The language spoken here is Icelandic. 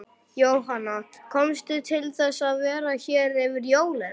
Jóhanna: Komstu til þess að vera hér yfir jólin?